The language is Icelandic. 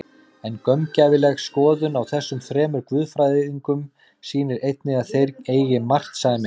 En gaumgæfileg skoðun á þessum þremur guðfræðingum sýnir einnig að þeir eiga margt sameiginlegt.